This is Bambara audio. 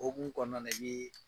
O ku mun kɔnɔna na i ye